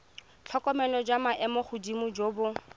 tlhokomelo jwa maemogodimo jo bo